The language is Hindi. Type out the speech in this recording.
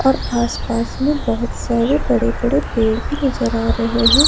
और आसपास में बहुत सारे बड़े बड़े पेड़ भी नजर आ रहे हैं।